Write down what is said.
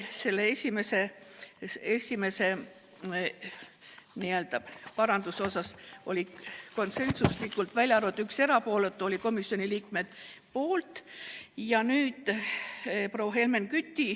Selle esimese paranduse osas oldi konsensuslikud: välja arvatud üks erapooletu, hääletasid kõik komisjoni liikmed selle poolt.